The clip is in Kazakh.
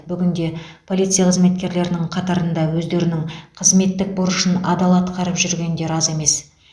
бүгінде полиция қызметкерлерінің қатарында өздерінің қызметтік борышын адал атқарып жүргендер аз емес